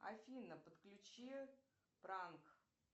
афина подключи пранк